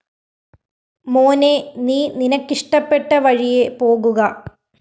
മോനെ നീ നിനക്കിഷ്ടപ്പെട്ട വഴിയെ പോകുക